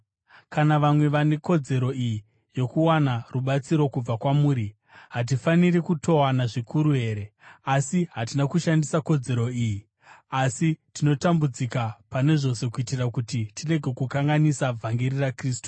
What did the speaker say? Kana vamwe vane kodzero iyi yokuwana rubatsiro kubva kwamuri, hatifaniri kutowana zvikuru here? Asi hatina kushandisa kodzero iyi. Asi tinotambudzika pane zvose kuitira kuti tirege kukanganisa vhangeri raKristu.